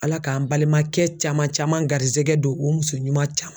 Ala k'an balimankɛ caman caman garisɛgɛ don o muso ɲuman caman